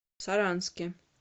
саранске